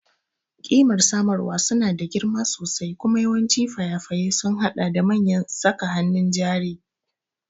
Ƙimar samarwa suna da girma sosai kuma yawancin fayafai sun haɗa da manyan saka hannun jari.